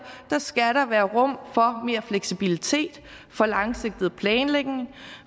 skal der være rum for mere fleksibilitet for langsigtet planlægning